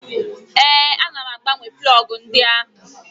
Ee, ana m agbanwe plọgụ ndị ahụ.